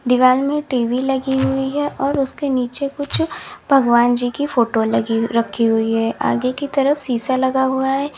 दीवार में टी_वी लगी हुई है और उसके नीचे कुछ भगवान जी की फोटो लगी रखी हुई है आगे की तरफ शीशा लगा हुआ है।